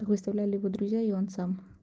так выставляли его друзья и он сам